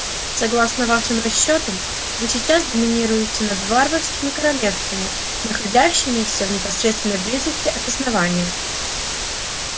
согласно вашим расчётам вы сейчас доминируете над варварскими королевствами находящимися в непосредственной близости от основания